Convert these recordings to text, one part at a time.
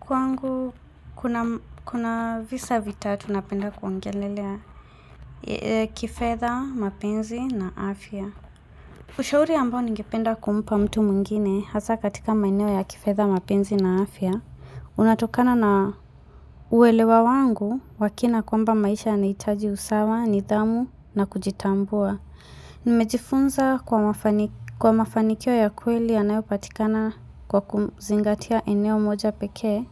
Kwangu, kuna visa vitatu napenda kuongelelea kifedha, mapenzi na afya. Ushauri ambao ningependa kumpa mtu mungine hasa katika maeneo ya kifedha, mapenzi na afya. Unatokana na uwelewa wangu, wakina kwamba maisha anayitaji usawa, nidhamu na kujitambua. Nimejifunza kwa mafanikio ya kweli ya nayo patikana kwa kuzingatia eneo moja peke.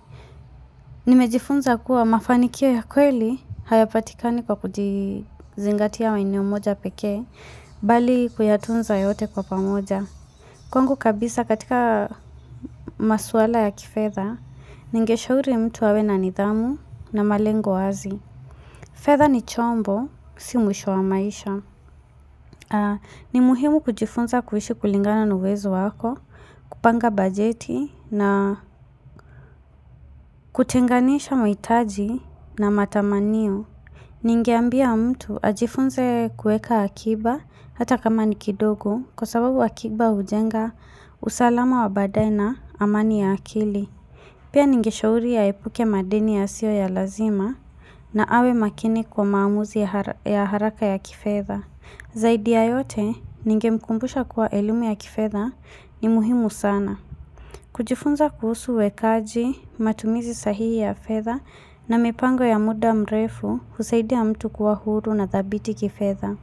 Nimejifunza kuwa mafanikio ya kweli hayapatikani kwa kujizingatia eneo moja peke bali kuyatunza yote kwa pamoja kwangu kabisa katika maswala ya kifedha ningesha uri mtu awe na nidhamu na malengo wazi fedha ni chombo, si mwisho wa maisha ni muhimu kujifunza kuishi kulingana na uwezo wako kupanga bajeti na kutenganisha maitaji na matamaniyo Ningeambia mtu ajifunze kueka akiba Hata kama nikidogo Kwa sababu akiba ujenga usalama wa badae na amani ya akili Pia ninge shauria aepuke madeni ya sio ya lazima na awe makini kwa maamuzi ya haraka ya kifedha Zaidi ya yote Ninge mkumbusha kuwa elimu ya kifedha ni muhimu sana kujifunza kuhusu wekaji matumizi sahihi ya fedha na mipango ya muda mrefu kusaidia mtu kuwa huru na thabiti kifedha.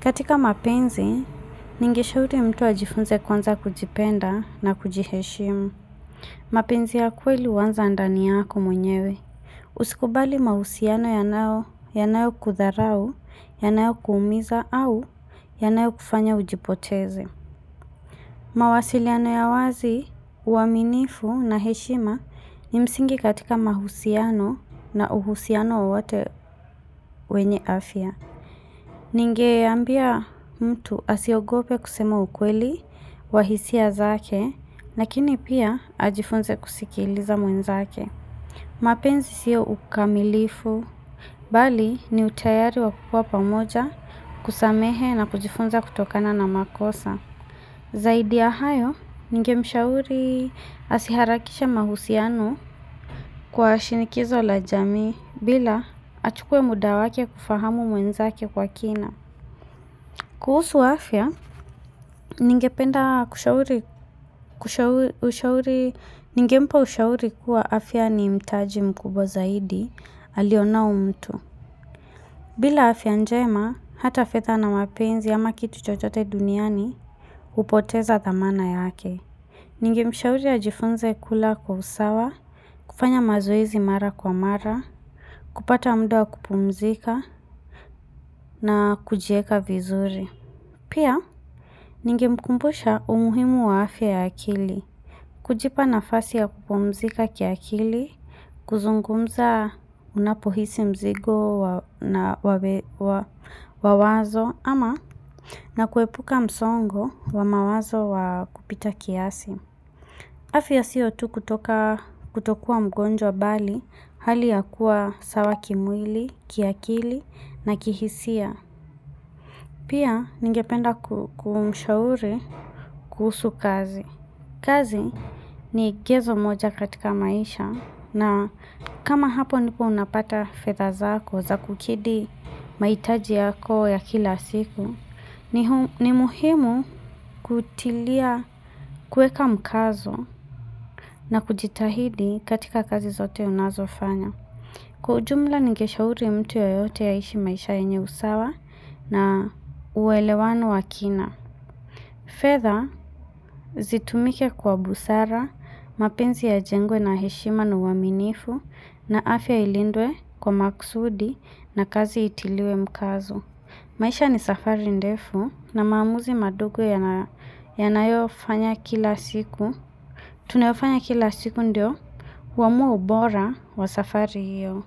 Katika mapenzi, ningeshauri mtu ajifunze kwanza kujipenda na kujiheshimu. Mapenzi ya kweli uwanza ndaniyako mwenyewe. Usikubali mahusiano ya nao, ya nao kudharau, ya nao kuumiza au ya nao kufanya ujipoteze. Mawasiliano ya wazi, uaminifu na heshima ni msingi katika mahusiano na uhusiano wa wote wenye afya. Ninge ambia mtu asiogope kusema ukweli wahisia zake, nakini pia ajifunze kusikiliza mwenza zake. Mapenzi siyo ukamilifu, bali ni utayari wa kupua pamoja kusamehe na kujifunze kutokana na makosa. Zaidi ya hayo, ninge mshauri asiharakishe mahusiano kwa shinikizo la jami bila achukue mudawake kufahamu mwenzake kwa kina. Kuhusu afya, ningenda kushauri ushauri kuwa afya ni mtaji mkubwa zaidi aliona mtu. Bila afya njema, hata fedha na mapenzi ama kitu chochote duniani upoteza dhamana yake. Ninge mshauri ya jifunze kula kwa usawa, kufanya mazoezi mara kwa mara, kupata muda kupumzika na kujieka vizuri. Pia, ninge mkumbusha umuhimu wa afya ya akili. Kujipa nafasi ya kupumzika kia akili, kuzungumza unapohisi mzigo na wawazo ama na kuepuka msongo wa mawazo wa kupita kiasi. Afia siyo tu kutoka kutokua mgonjwa bali hali ya kuwa sawa kimwili, kiakili na kihisia. Pia ningependa kumshauri kuhusu kazi. Kazi ni gezo moja katika maisha na kama hapo nipo unapata fedha zako za kukidhi maitaji yako ya kila siku, ni muhimu kutilia kueka mkazo na kujitahidi katika kazi zote unazo fanya. Kujumla nikeshauri mtu yoyote aishi maisha enye usawa na uwelewano wakina. Fedha zitumike kwa busara, mapenzi ya jengwe na heshima na uwaminifu na afya ilindwe kwa makusudi na kazi itiliwe mkazo. Maisha ni safari ndefu na maamuzi madogo yanayofanya kila siku. Tunayofanya kila siku ndio uamua ubora wa safari hiyo.